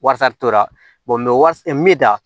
Wasa tora bɛ da